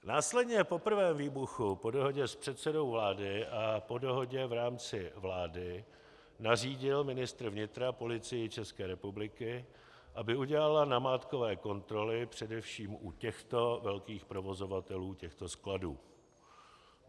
Následně po prvém výbuchu po dohodě s předsedou vlády a po dohodě v rámci vlády nařídil ministr vnitra Policii České republiky, aby udělala namátkové kontroly především u těchto velkých provozovatelů těchto skladů.